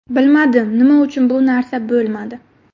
Bilmadim, nima uchun bu narsa bo‘lmadi?